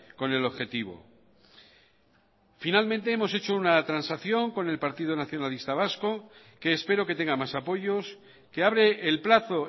con el objetivo finalmente hemos hecho una transacción con el partido nacionalista vasco que espero que tenga más apoyos que abre el plazo